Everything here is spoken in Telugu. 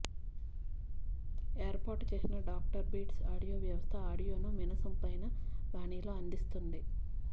ఏర్పాటు చేసిన డాక్టర్ బీట్స్ ఆడియో వ్యవస్థ ఆడియోను వినసొంపైన బాణిలో అందిస్తుంది